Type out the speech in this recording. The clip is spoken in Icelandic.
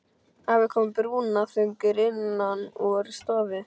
Afi kom brúnaþungur innan úr stofu.